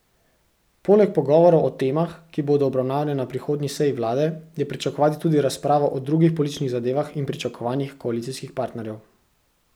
Poleg pogovorov o temah, ki bodo obravnavane na prihodnji seji vlade, je pričakovati tudi razpravo o drugih političnih zadevah in pričakovanjih koalicijskih partnerjev.